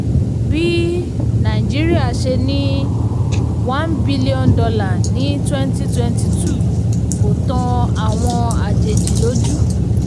bí um nàìjíríà ṣe ní one billion dollar ní twenty twenty two kò tan àwọn àjèjì lójú.